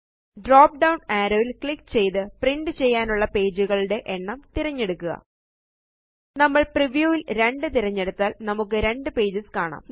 drop down arrow യില് click ചെയ്ത് print ചെയ്യാനുള്ള പേജുകളുടെ എണ്ണം തിരഞ്ഞെടുക്കുക നമ്മള് പ്രിവ്യൂ ല് 2 തിരഞ്ഞെടുത്താല് നമുക്ക് 2 പേജസ് കാണാം